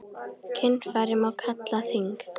Kynfæri má kalla þing.